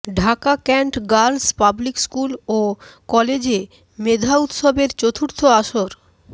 Dhaka cantt girls public school ও কলেজে মেধা উৎসবের চতুর্থ আসর